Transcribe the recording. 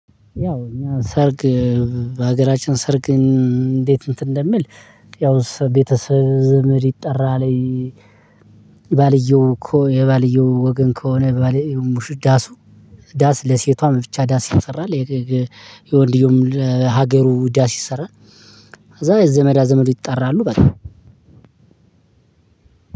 ያው እኛ ሰርግ በሀገራችን ሰርግን እንዴት እንትን እንደሚል ያው ቤተሰብ ዘመድ ይጠራል። የባልየው የባልየው ወገን ከሆነ የባልየው ሙሽ ዳሱ ዳስ ለሴቷ ብቻ ዳስ ይሰራል። የወንድየውም ሀገሩ ዳስ ይሰራል። ከዛ ዘመዳ ዘመዱ ይጠራሉ በሉ